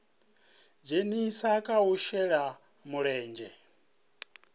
dzhenisa kha u shela mulenzhe